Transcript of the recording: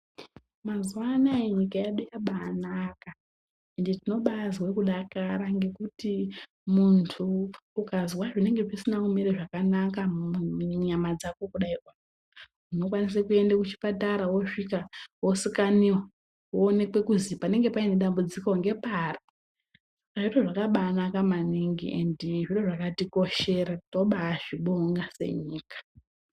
Mazuva anaya nyika yedu yabanaka ende tinobazwe kudakara ngekuti muntu ukazwa zvinenge zvisina kumira zvakanaka munyama dzako kudai oo. Unokwanise kuende kuchipatara vosvika vosikaniva vooneke kuzi panenge paine dambudziko ngepari. Panoitwa zvakabanaka maningi endi zviro zvakatikoshera tobazvibonga senyika.